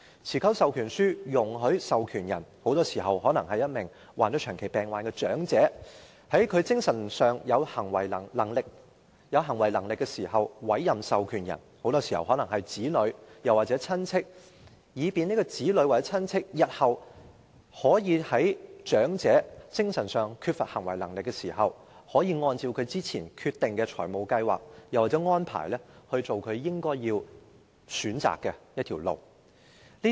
持久授權書容許授權人——很多時候是患上長期病患的長者——在他精神上仍有行為能力時，委任某人為獲授權人——很多時候是其子女或親戚——以便獲授權人日後在該名長者在精神上缺乏行為能力時，可以按照他之前決定的財務計劃或安排，為他選擇應走的路。